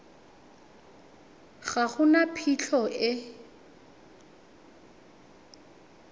ga go na phitlho e